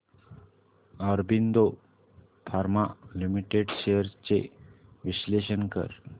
Aurobindo pharma limited shares चे विश्लेषण कर